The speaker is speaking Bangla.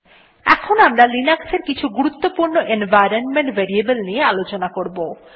এখন আমরা লিনাক্সের কিছু গুরুত্বপূর্ণ এনভাইরনমেন্ট ভেরিয়েবল নিয়ে আলোচনা করব